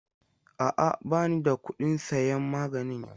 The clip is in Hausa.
A'a, ba ni da kuɗin sayan magani yanzu.